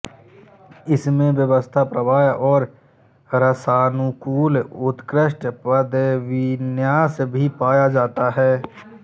उसमें व्यवस्था प्रवाह और रसानुकूल उत्कृष्ट पदविन्यास भी पाया जाता है